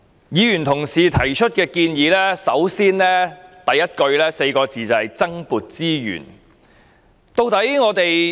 議員所提的建議，開首便是4個字——增撥資源。